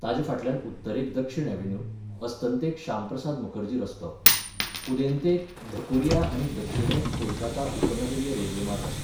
ताचे फाटल्यान उत्तरेक दक्षिण ऍव्हेन्यू, अस्तंतेक श्यामप्रसाद मुखर्जी रस्तो, उदेंतेक धकुरिया आनी दक्षिणेक कोलकाता उपनगरीय रेल्वेमार्ग आसात.